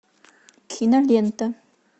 кинолента